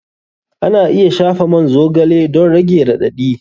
Ana iya shafa man zogale don rage raɗaɗi.